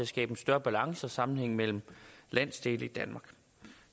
skabe en større balance og sammenhæng mellem landsdele i danmark